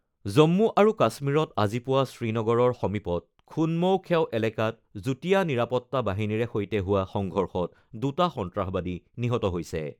জম্মু আৰু কাশ্মীৰত আজি পুৱা শ্ৰীনগৰৰ সমীপত খুনমৌ খেও এলেকাত যুটীয়া নিৰাপত্তা বাহিনীৰে সৈতে হোৱা সংঘৰ্ষত দুটা সন্ত্ৰাসবাদী নিহত হৈছে।